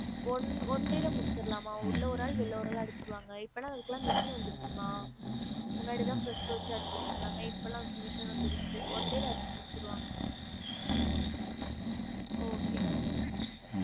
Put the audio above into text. One one day ல முடிச்சிரலாம்மா உள்ள ஒரு ஆளு வெல்ல ஒரு ஆளு அடிச்சிருவாங்க இப்பலாம் அதுக்குலாம் machine வந்திருசு மா முன்னாடி தான் brush வச்சு அடிச்சிட்டு இருந்தாங்க இப்பலாம் machine வந்திருச்சுல one day ல அடிச்சி முடிசிருவாங்க okay மா